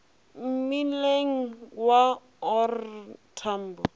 mmileng wa o r tambo